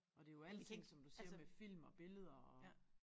Og det jo alting som du siger med film og billeder og